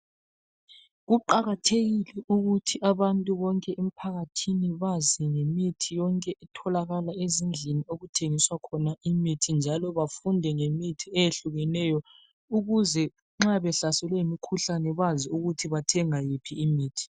Kuqakathekile ukuthi abantu bonke emphakathini bazi ngemithi yonke etholakala ezindlini okuthengiswa khona imithi njalo bafunde ngemithi eyehlukeneyo ukuze nxa behlaselwe yimikhuhlane bazi ukuthi bathenga yiphi imithi.